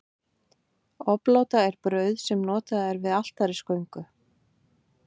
obláta er brauð sem er notað við altarisgöngu